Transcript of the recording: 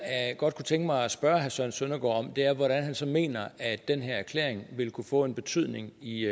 godt kunne tænke mig at spørge herre søren søndergaard om er hvordan han så mener at den her erklæring vil kunne få en betydning i